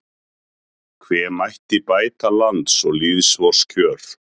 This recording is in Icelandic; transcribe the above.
Hve mætti bæta lands og lýðs vors kjör